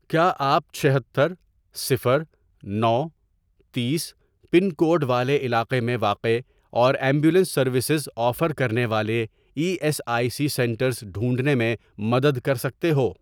کیا آپ چھہتر، صفر، نو، تیس، پن کوڈ والے علاقے میں واقع اور ایمبولینس سروسز آفر کرنے والے E S I C centres ڈھونڈنے میں مدد کر سکتے ہو؟